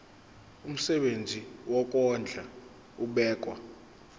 umsebenzi wokondla ubekwa